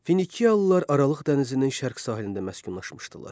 Finikiyalılar Aralıq dənizinin şərq sahilində məskunlaşmışdılar.